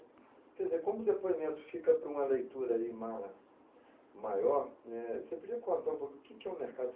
Quer dizer, como o depoimento fica para uma leitura ai mara, maior né , você podia contar um pouco o que é o mercado